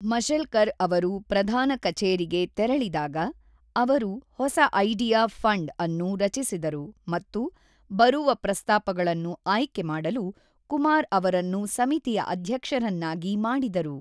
ಮಶೆಲ್ಕರ್ ಅವರು ಪ್ರಧಾನ ಕಛೇರಿಗೆ ತೆರಳಿದಾಗ, ಅವರು ಹೊಸ ಐಡಿಯಾ ಫಂಡ್ ಅನ್ನು ರಚಿಸಿದರು ಮತ್ತು ಬರುವ ಪ್ರಸ್ತಾಪಗಳನ್ನು ಆಯ್ಕೆ ಮಾಡಲು ಕುಮಾರ್ ಅವರನ್ನು ಸಮಿತಿಯ ಅಧ್ಯಕ್ಷರನ್ನಾಗಿ ಮಾಡಿದರು.